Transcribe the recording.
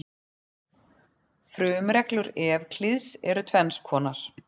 Frumreglur Evklíðs eru tvenns konar.